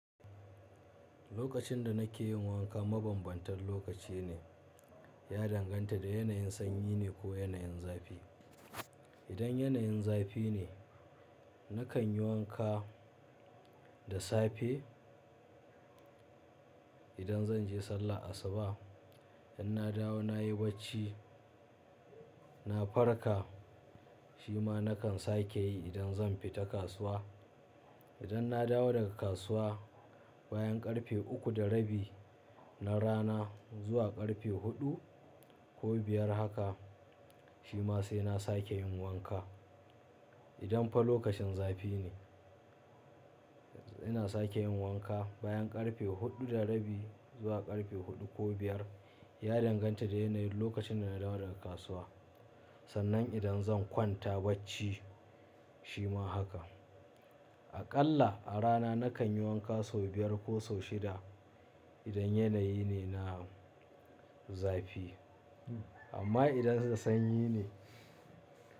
Lokacin da nake yin wanka mabanbantan lokaci ne, ya danganta da yanayin sanyi ne ko yanayin zafi. Idan yanayin zafi ne, nakan yi wanka da safe idan zan je sallah asuba. Idan na dawo na yi bacci, na farka, shi ma nakan sake yi idan zan fita kasuwa. Idan na dawo daga kasuwa bayan karfe uku da rabi na rana zuwa karfe huɗu ko biyar haka, shi ma sai na sake yin wanka. Idan fa lokacin zafi ne, ina sake yin wanka bayan karfe huɗu da rabi zuwa karfe huɗu ko biyar, ya danganta da yanayin lokacin da na dawo daga kasuwa. Sannan idan zan kwanta bacci shi ma haka. Aƙalla a rana nakan yi wanka sau biyar ko sau shida idan yanayi ne na zafi. Amma idan da sanyi ne.